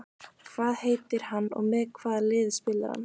Hvað heitir hann og með hvaða liði spilar hann?